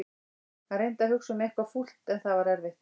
Hann reyndi að hugsa um eitthvað fúlt en það var erfitt.